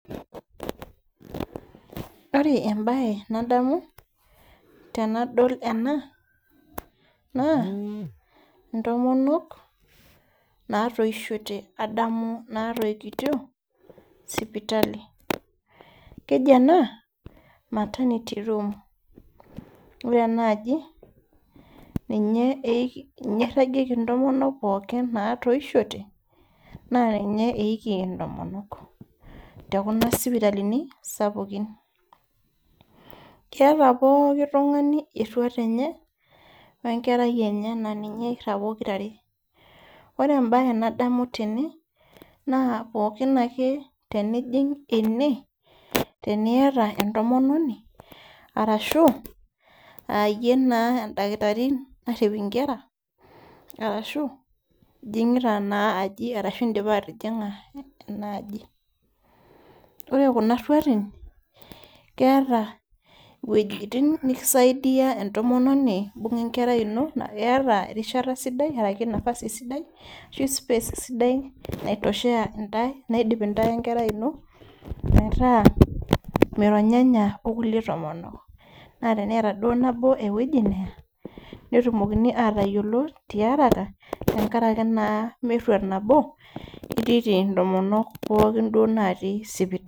Ore embaye nadamu tenadol ena naa intomonok natoishote adamu natoikitio sipitali keji ena maternity room ore ena aji ninye eiki ninye eirragieki intomonok pookin natoishote naa ninye eiki intomonk tekuna sipitalini sapukin keeta pooki tung'ani erruat enye wenkerai enye naa ninye eirrag pokirare ore embaye nadamu tene naa pookin ake teijing ene teniyata entomononi arashu ayie naa endakitari narrip inkera arashu ijing'ita naa aji arashu indipa atijing'a ena aji ore kuna rruatin keeta iwuejitin nikisaidia entomononi imbung'a enkerai ino naa keeta erishata sidai araki nafasi sidai ashu space sidai naitoshaa naidip intae wenkerai ino naitaa mironyanya okulie tomonok naa teneeta duo nabo ewueji neya netumokini atayiolo tiaraka tenkaraki naa merruat nabo itiiti intomonok pookin duo natii sipitali.